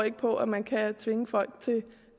ikke på at man kan tvinge folk til